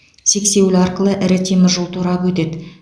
сексеуіл арқылы ірі темір жол торабы өтеді